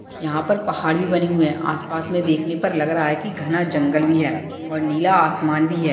यहाँ पर पहाड़ भी बनी हुई है आस-पास में देखने पर लग रहा की जैसे घना जंगले भी है और नीला आसमान भी है।